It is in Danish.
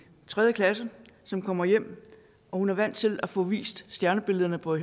tredje klasse som kommer hjem hun er vant til at få vist stjernebillederne på